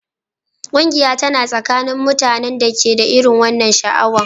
Ƙungiya tana tsakanin mutanen da ke da irin wannan sha'awa